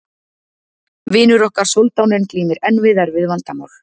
Vinur okkar soldáninn glímir enn við erfið vandamál.